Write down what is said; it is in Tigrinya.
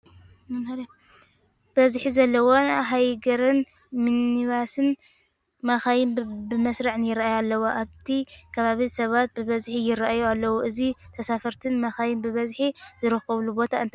ብዝሒ ዘለወን ሃይገርን ሚኒባስን መኻይን በብመስርዐን ይርአያ ኣለዋ፡፡ ኣብቲ ከባቢ ሰባት ብበዝሒ ይርአዩ ኣለዉ፡፡ እዚ ተሳፈርትን መኻይንን ብብዝሒ ዝርከቡሉ ቦታ እንታይ ይበሃል?